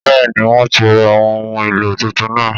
Bẹ́ẹ̀ ni, wọ́n ti ra àwọn ohun èlò tuntun náà.